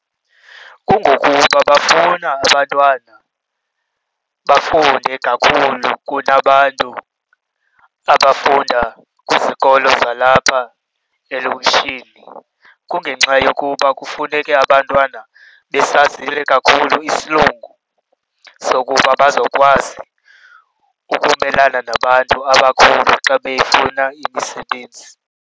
Kungokuba bafuna abantwana bafunde kakhulu kunabantu abafunda kwizikolo zalapha elokishini. Kungenxa yokuba kufuneke abantwana besazile kakhulu isilungu sokuba bazokwazi ukumelana nabantu abakhulu xa befuna imisebenzi.